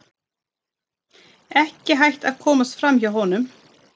Ekki hægt að komast fram hjá honum.